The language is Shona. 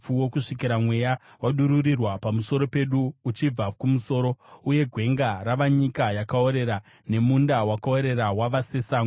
kusvikira Mweya wadururirwa pamusoro pedu uchibva kumusoro, uye gwenga rava nyika yakaorera, nemunda wakaorera wava sesango.